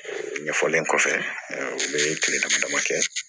Ɲɛfɔlen kɔfɛ u bɛ kile dama dama kɛ